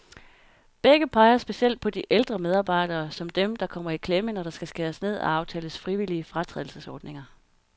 Begge peger specielt på de ældre medarbejdere, som dem, der kommer i klemme, når der skal skæres ned og aftales frivillige fratrædelsesordninger.